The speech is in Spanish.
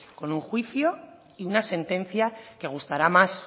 con un juicio y una sentencia que gustará más